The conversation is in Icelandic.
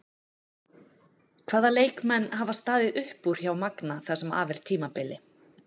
Hvaða leikmenn hafa staðið upp úr hjá Magna það sem af er tímabili?